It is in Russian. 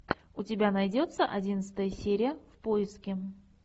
у тебя найдется одиннадцатая серия в поиске